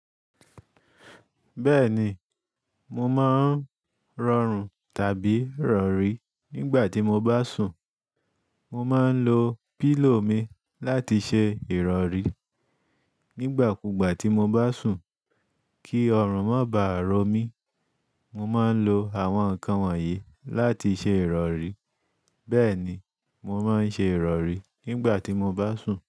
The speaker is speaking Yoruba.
Bẹ́ẹ̀ni, mo máa ń rọrùn tàbí rọ̀rí nígbà tí mo bá sùn. Mo máa ń lo pílò mi láti ṣe ìrọ̀rí. Nígbà kú gbà tí mo bá sùn kí ọrùn má bá rọ mí, mo máa ń lo àwọn nǹkan wọ̀nyí láti ṣe ìrọ̀rí. Bẹ́ẹ̀ni, mo máa ń ṣe ìrọ̀rí nígbà tí mo bá sùn.